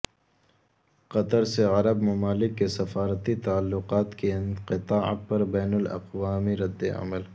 قطر سے عرب ممالک کے سفارتی تعلقات کے انقطاع پر بین الاقوامی ردعمل